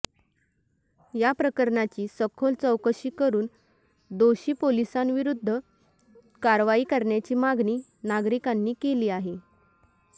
या प्रकरणाची सखोल चौकशी करून दोषी पोलिसांविरुद्ध कारवाई करण्याची मागणी नागरिकांनी केली आहे